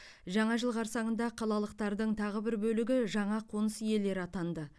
жаңа жыл қарсаңында қалалықтардың тағы бір бөлігі жаңа қоныс иелері атанды